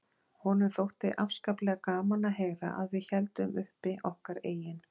Honum þótti afskaplega gaman að heyra að við héldum uppi okkar eigin